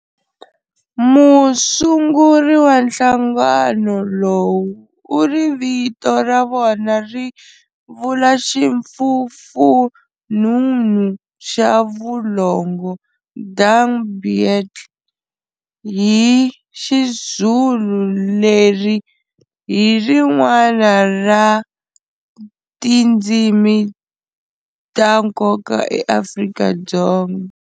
Musunguri wa nhlangano lowu u ri vito ra vona ri vula ximfufununu xa vulongo, "dung beetle, hi XiZulu, leri hi rin'wana ra tindzimi ta nkoka eAfrika-Dzonga.